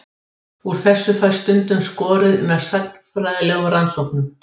Úr þessu fæst stundum skorið með sagnfræðilegum rannsóknum.